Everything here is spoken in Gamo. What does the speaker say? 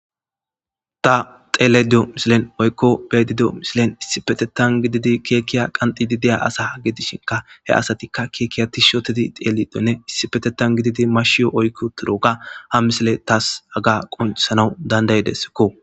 Ta xellayida diyyo missilen woykko beayda diyo missilen issipetetan gididi kekke qanxxidi diya asa gidishinka he asatika keke tish ottidi xelidine issipetetan gididi mashiyo oykki uttidoga ha missiley tas haga qonccisanawu dandidesiko.